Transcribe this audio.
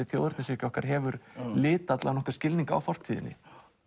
þjóðernishyggja okkar hefur litað allan skilning á fortíðinni